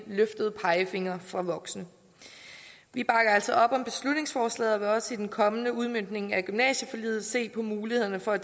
løftede pegefingre fra voksne vi bakker altså op om beslutningsforslaget og vil også i den kommende udmøntning af gymnasieforliget se på mulighederne for at